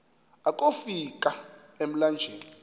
akofi ka emlanjeni